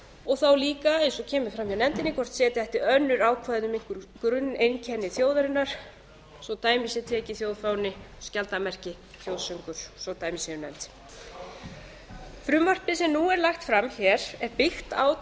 og þá líka eins og kemur fram hjá nefndinni hvort setja ætti önnur ákvæði um grunneinkenni þjóðarinnar svo dæmi sé tekið þjóðfáni skjaldarmerki þjóðsöng frumvarpið sem nú er lagt fram hér er byggt